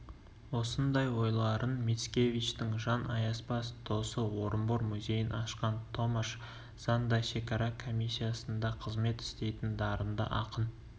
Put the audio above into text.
осындай ойларын мицкевичтің жан аяспас досы орынбор музейін ашқан томаш зан да шекара комиссиясында қызмет істейтін дарынды ақын